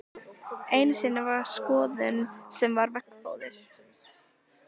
Einu sinni var skoðun sem var veggfóður.